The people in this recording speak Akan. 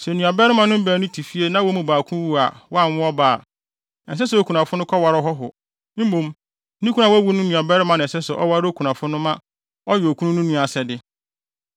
Sɛ nuabarimanom baanu te fie na wɔn mu baako wu a wanwo ɔba a, ɛnsɛ sɛ okunafo no kɔware ɔhɔho. Mmom, ne kunu a wawu no nuabarima na ɛsɛ sɛ ɔware okunafo no ma ɔyɛ okunu nua no asɛde.